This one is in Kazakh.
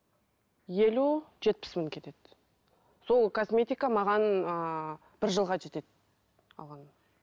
елу жетпіс мың кетеді сол косметика маған ыыы бір жылға жетеді алғаным